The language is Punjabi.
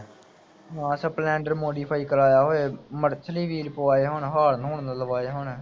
ਹਾਂ ਸਪਲੈਂਡਰ ਮੋਡੀਫਾਈ ਕਰਵਾਇਆ ਹੋਵੇ। ਮੜਥਲੀ ਵੀਹਲ ਪਵਾਏ ਹੋਣ ਹਾਰਨ ਹੂਰਨ ਲਵਾਏ ਹੋਣ